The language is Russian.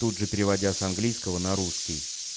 тут же переводя с английского на русский